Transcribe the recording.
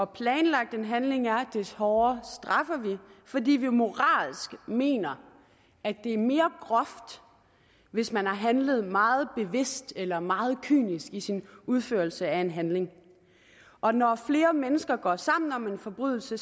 planlagt en handling er des hårdere straffer vi fordi vi moralsk mener at det er mere groft hvis man har handlet meget bevidst eller været meget kynisk i sin udførelse af en handling og når flere mennesker går sammen om en forbrydelse